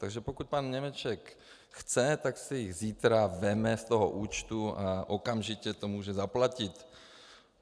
Takže pokud pan Němeček chce, tak si je zítra vezme z toho účtu a okamžitě to může zaplatit.